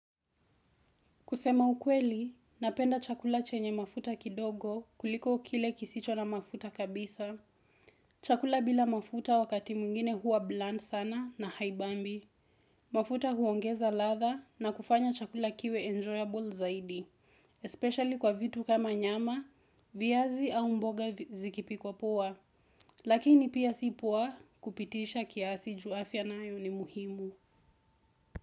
Kusema ukweli, napenda chakula chenye mafuta kidogo kuliko kile kisicho na mafuta kabisa. Chakula bila mafuta wakati mwingine huwa bland sana na haibambi. Mafuta huongeza ladha na kufanya chakula kiwe enjoyable zaidi. Especially kwa vitu kama nyama, viazi au mboga zikipikwa poa. Lakini pia si poa kupitisha kiasi juu afya nayo ni muhimu.